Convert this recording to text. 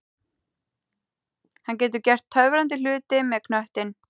Hann getur gert töfrandi hluti með knöttinn.